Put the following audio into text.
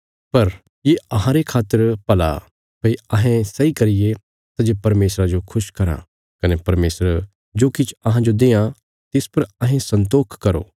पर ये अहांरे खातर भला भई अहें सैई करिये सै जे परमेशरा जो खुश कराँ कने परमेशर जो किछ अहांजो देआं तिस पर अहें संतोख करो